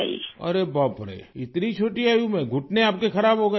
ارے باپ رے! اتنی چھوٹی عمر میں آپ کے گھٹنے خراب ہوگئے